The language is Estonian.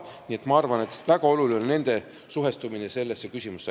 Nii et ma arvan, et väga oluline on nende suhestumine sellesse küsimusse.